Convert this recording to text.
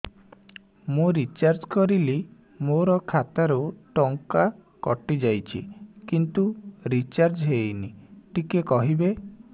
ମୁ ରିଚାର୍ଜ କରିଲି ମୋର ଖାତା ରୁ ଟଙ୍କା କଟି ଯାଇଛି କିନ୍ତୁ ରିଚାର୍ଜ ହେଇନି ଟିକେ କହିବେ